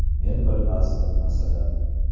Men bilmasdim, masalan.